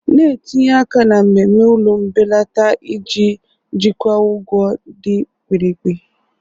Na-etinye aka na mmemme ụlọ mbelata iji jikwaa ụgwọ dị mkpirikpi.